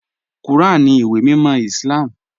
Kúràn ní ìwé mímọ̀ Islám.